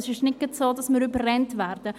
Es ist nicht so, dass wir überrannt werden.